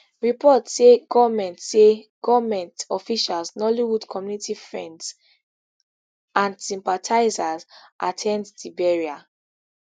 reports say goment say goment officials nollywood community friends and sympathizers at ten d di burial